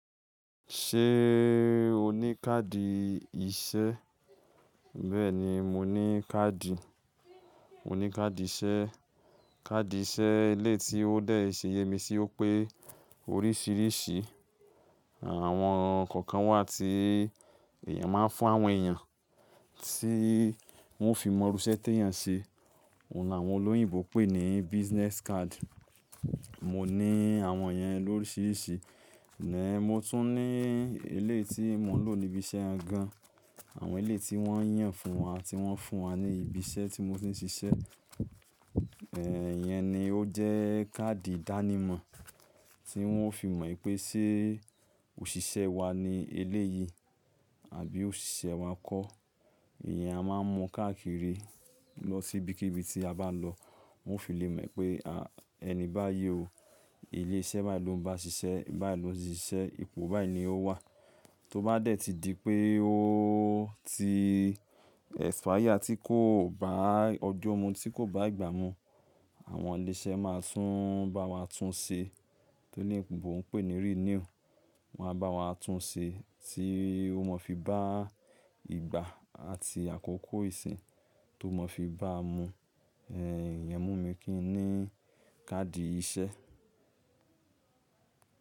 Ṣé o ní káàdì iṣẹ́? Bẹ́ẹ̀ni, mo ní káàdì. Mo ní káàdì iṣẹ́. Káàdì iṣẹ́ eleyi tí ó dé ìṣe yemi sí ó pé oríṣìíríṣìí. Àwọn kankan wà tí èèyàn máa ń fún àwọn èèyàn tí wọ́n fi mọ irú iṣẹ́ tí èèyàn ṣe. Ó na àwọn olóyìnbo pè ní business card. Mo ní àwọn yẹn lóríṣìíríṣìí. Mo tún ní ilé tí mo ń lò níbi iṣẹ́ gan. Àwọn ilé tí wọ́n yàn fún wa tí wọ́n fún wa ní ibi iṣẹ́ tí mo ti ń ṣiṣẹ́. Ìyẹn ni ó jẹ́ káàdì ìdánimọ̀ tí wọ́n ó fi mọ̀ pé ṣé òṣìṣẹ́ wa ni eléyìí àbí òṣìṣẹ́ wa kọ́. Ìyẹn a máa ń mú káàkiri lọ sí ibikíbi tí a bá lọ. Wọ́n ó fi lè mọ̀ pé a, ẹni bá yé o, ilé iṣẹ́ bayi ló ń bá ṣiṣẹ́, bayi lóse ń ṣiṣẹ́, ipò bái ní ó wà. Tó bá dé tí di pé ó ti expire tí kò bá ọjọ́ mú tí kò bá ìgbà mú, àwọn ilé iṣẹ́ máa tún bá wa tún ṣe. Tí oloyinbo ń pè ní renew. Wọ́n á bá wa tún ṣe tí ó mọ fi bá ìgbà àti àkókò ìsìn tó maa fi bá mu. Ẹ̀ẹ̀, ìyẹn mú mi kí n ní káàdì iṣẹ́.